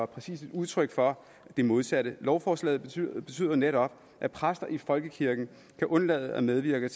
præcis et udtryk for det modsatte lovforslaget betyder betyder netop at præster i folkekirken kan undlade at medvirke